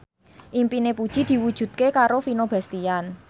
impine Puji diwujudke karo Vino Bastian